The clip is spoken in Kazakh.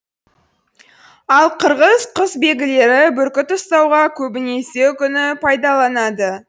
ал қырғыз қүсбегілері бүркіт ұстауға көбінесе үкіні пайдаланады